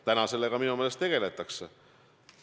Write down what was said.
Täna sellega minu meelest tegeletakse.